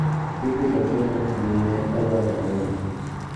Ibiro tero kama ne odwaroreye